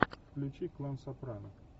включи клан сопрано